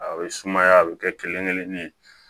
A bɛ sumaya a bɛ kɛ kelen kelen ye